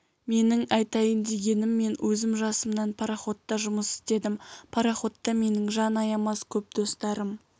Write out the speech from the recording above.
менің айтайын дегенім мен өзім жасымнан пароходта жұмыс істедім пароходта менің жан аямас көп достарым